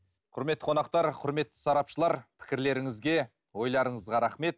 құрметті қонақтар құрметті сарапшылар пікірлеріңізге ойларыңызға рахмет